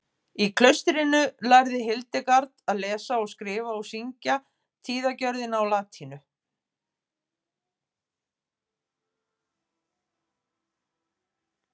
Í klaustrinu lærði Hildegard að lesa og skrifa og syngja tíðagjörðina á latínu.